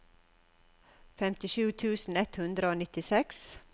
femtisju tusen ett hundre og nittiseks